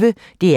DR P1